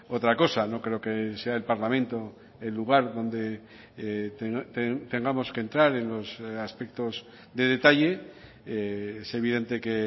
otra cosa no creo que sea el parlamento el lugar donde tengamos que entrar en los aspectos de detalle es evidente que